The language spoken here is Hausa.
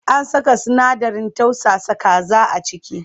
An saka sinadarin tausasa kaza a ciki?